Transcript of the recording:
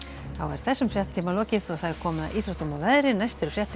þessum fréttatíma er lokið og komið að íþróttum og veðri næstu fréttir